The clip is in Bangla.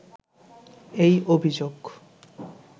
এই অভিযোগ